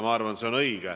Ma arvan, et see on õige.